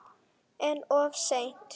En of seint?